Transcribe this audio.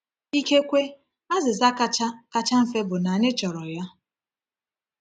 Ikekwe azịza kacha kacha mfe bụ na anyị chọrọ ya.